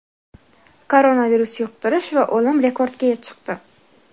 Koronavirus yuqtirish va o‘lim rekordga chiqdi.